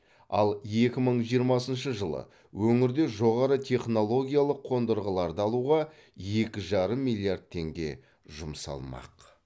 ал екі мың жиырмасыншы жылы өңірде жоғары технологиялық қондырғыларды алуға екі жарым миллиард теңге жұмсалмақ